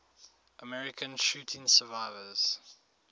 american shooting survivors